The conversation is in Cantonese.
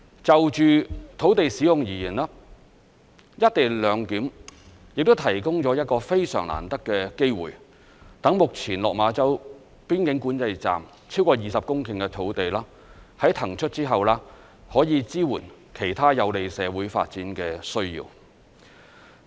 就着土地使用而言，"一地兩檢"亦提供了一個非常難得的機會，讓目前落馬洲邊境管制站超過20公頃的土地，在騰出後可以支援其他有利社會發展的需要。